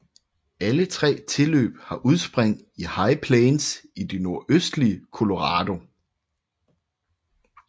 Alle tre tilløb har udspring i High Plains i det nordøstlige Colorado